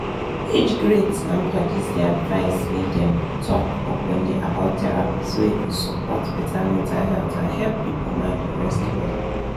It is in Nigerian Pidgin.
age grades and padis dey advised make dem talk openly about therapy so e go support better mental health and help people mind rest well.